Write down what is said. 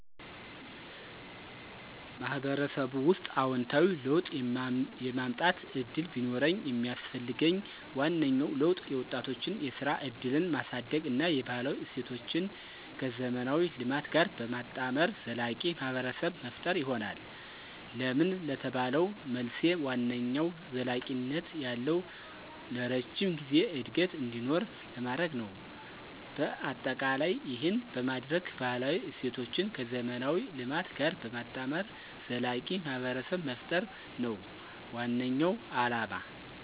ማህበረሰቡ ውስጥ አዎንታዊ ለውጥ የማምጠት እድል ቢኖርኝ የሚስፈልገኝ ዋነኛው ለውጥ የወጣቶችን የስራ እድልን ማሳድግ እና የባህላዊ እሴቶችን ከዘመናዊ ልማት ጋር በማጣመር ዘላቂ ማህብረሰብ መፈጠር ይሆናል። ለምን ለተባለው መልሴ ዋነኛው ዘለቂነት ያለው(ለረጅም ጊዜ) እድገት እንዲኖር ለማድርግ ነው። በአጠቃላይ ይህን በማደርግ ባህላዊ እሴቶችን ከዘመናዊ ልማት ጋር በማጣመር ዘላቂ ማህብረሰብ መፍጠር ነው ዋናው አለማ።